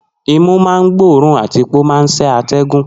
Nose senses and filters the air. ì